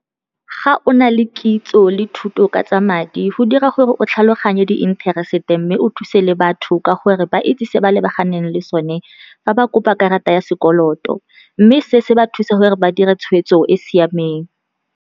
Ga o na le kitso le thuto ka tsa madi go dira gore o tlhaloganye di-interest-e, mme o thuse le batho ka gore ba itse se ba lebaganeng le sone fa ba kopa karata ya sekoloto, mme se se ba thuse gore ba dira tshweetso e siameng.